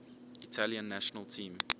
italian national team